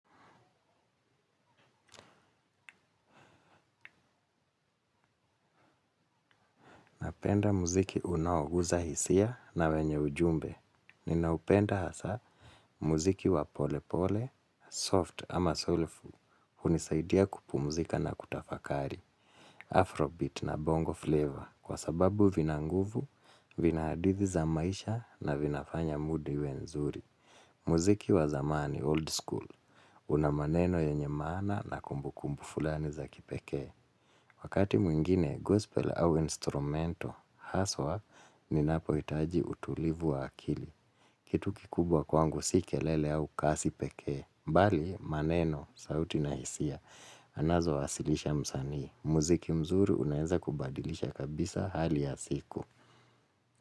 Napenda muziki unaoguza hisia na wenye ujumbe. Ninaupenda hasa muziki wa pole pole, soft ama soulful, hunisaidia kupumzika na kutafakari. Afrobeat na bongo flavor, kwa sababu vina nguvu, vina hadithi za maisha na vinafanya mudi iwe nzuri. Muziki wa zamani, old school, unamaneno yenye maana na kumbukumbu fulani za kipekee. Wakati mwingine gospel au instrumental hasa ninapohitaji utulivu wa akili. Kitu kikubwa kwangu si kelele au kasi pekee. Bali maneno, sauti na hisia, anazowasilisha msanii. Muziki mzuri unaeza kubadilisha kabisa hali ya siku.